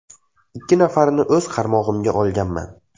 Ikki nafarini esa o‘z qaramog‘imga olganman.